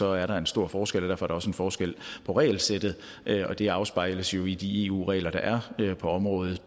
er der en stor forskel og derfor er der også en forskel på regelsættet det afspejles jo i de eu regler der er på området